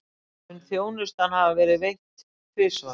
Mun þjónustan hafa verið veitt tvisvar